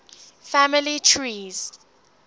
family trees